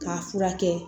K'a furakɛ